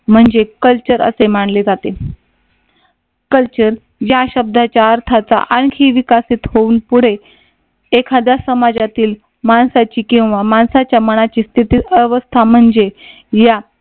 म्हणजे कल्चर असे मानले जाते. कल्चर या शब्दाचा अर्थाचा आणखी विकसित होऊन पुढे एखाद्या समाजातील माणसाची किंवा माणसाच्या मनाची स्थिती अवस्था म्हणजे या